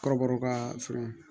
Kɔrɔbɔrɔw ka fɛɛrɛ